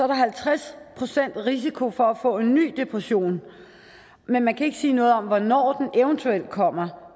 der halvtreds procent risiko for at få en ny depression men man kan ikke sige noget om hvornår den eventuelt kommer